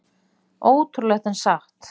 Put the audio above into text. Ótrúlegt en satt